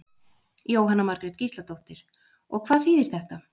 Jóhanna Margrét Gísladóttir: Og hvað þýðir þetta?